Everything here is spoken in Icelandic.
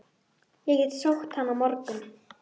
Ég get sótt hann á morgun.